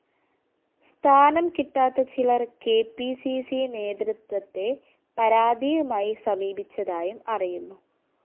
സ്ഥാനം കിട്ടാത്ത ചിലര്‍ കെ പി സി സി നേതൃത്വത്തെ പരാതിയുമായി സമീപിച്ചതായും അറിയുന്നു